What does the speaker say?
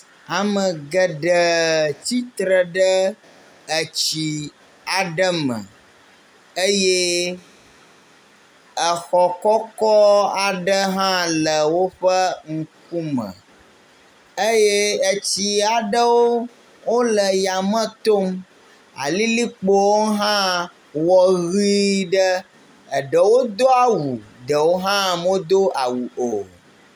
Ame geɖe tsitre ɖe etsi aɖe me eye exɔ kɔkɔ aɖe hã le woƒe ŋkume eye etsi aɖewo wo le ya, me tom. Alilikpowo hã wɔ ʋi ɖe. Eɖewo do awu eɖewo hã medo awu o.